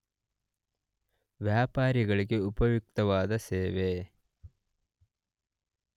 ವ್ಯಾಪಾರಿಗಳಿಗೆ ಉಪಯುಕ್ತವಾದ ಸೇವೆ.